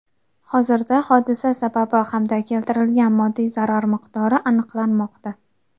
Hozirda hodisa sababi hamda keltirilgan moddiy zarar miqdori aniqlanmoqda.